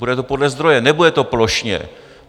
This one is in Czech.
Bude to podle zdroje, nebude to plošně.